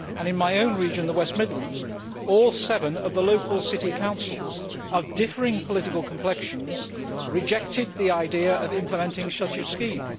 In my own region, the West Midlands, all seven of the local city councils of differing political complexions rejected the idea of implementing such a scheme.